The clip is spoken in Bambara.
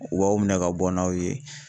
U b'aw minɛ ka bɔ n'aw ye.